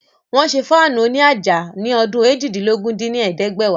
Wọ́n ṣé Fáànù òní àjà ní ọdún eéjìdínlógún dín ní ẹ̀ẹ́dẹ́gbẹ́wá